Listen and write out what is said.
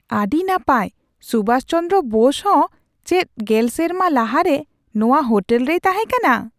ᱟᱹᱰᱤ ᱱᱟᱯᱟᱭ ! ᱥᱩᱵᱷᱟᱥ ᱪᱚᱸᱫᱨᱚ ᱵᱳᱥ ᱦᱚᱸ ᱪᱮᱫ ᱑᱐ ᱥᱮᱨᱢᱟ ᱞᱟᱦᱟᱨᱮ ᱱᱚᱣᱟ ᱦᱳᱴᱮᱞ ᱨᱮᱭ ᱛᱟᱦᱮᱠᱟᱱᱟ ?